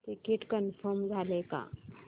ticket confirm झाले का